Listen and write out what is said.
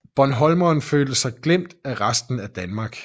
Bornholmerne følte sig glemt af resten af Danmark